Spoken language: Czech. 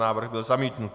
Návrh byl zamítnut.